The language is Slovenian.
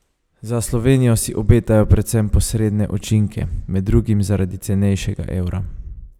Za Slovenijo si obetajo predvsem posredne učinke, med drugim zaradi cenejšega evra.